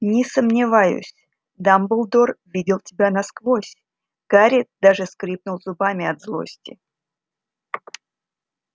не сомневаюсь дамблдор видел тебя насквозь гарри даже скрипнул зубами от злости